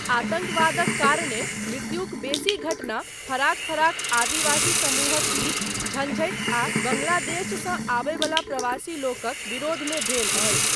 आतङ्कवादक कारणेँ मृत्युक बेसी घटना फराक फराक आदिवासी समूहक बीच झँझटि आ बाँग्लादेशसँ आबय बला प्रवासी लोकक विरोधमे भेल अछि।